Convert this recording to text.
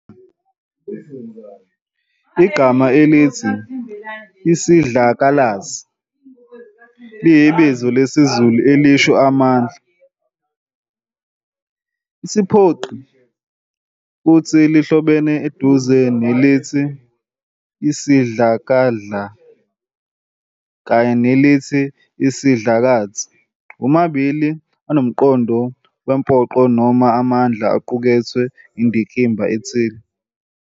Igama elithi "Isidlakalasi" liyibizo lesiZulu elisho "amandla, isiphoqi," futhi lihlobene eduze nelithi "isidlakadla" kanye nelithi "isidlakathi", womabili anomqondo wempoqo noma amandla aqukethwe indikimba ethile.